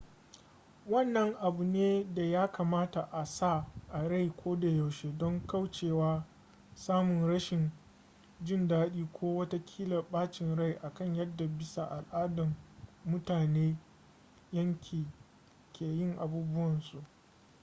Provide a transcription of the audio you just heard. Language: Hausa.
wannan abu ne da ya kamata a sa a rai kodayaushe don kaucewa samun rashin jin daɗi ko ma watakila bacin rai akan yadda bisa al'ada mutanen yankin ke yin abubuwansu